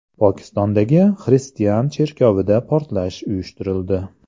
Pokistondagi xristian cherkovida portlash uyushtirildi.